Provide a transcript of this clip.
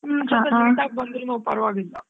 ಸ್ವಲ್ಪ late ಆಗ್ ಬಂದ್ರುನು ಪರ್ವಾಗಿಲ್ಲಾ.